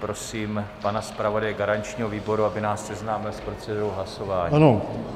Prosím pana zpravodaje garančního výboru, aby nás seznámil s procedurou hlasování.